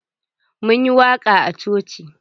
Mun yi waƙa a coci.